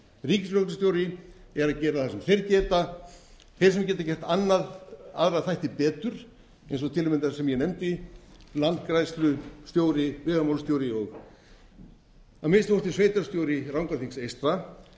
að gera það sem þeir geta þeir sem geta gert aðra þætti betur eins og til að mynda sem ég nefndi landgræðslustjóri vegamálastjóri og að minnsta kosti sveitarstjóri rangárþingi eystra eiga